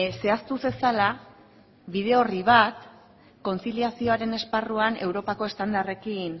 zehaztu zezala bide orri bat kontziliazioaren esparruan europako estandarrekin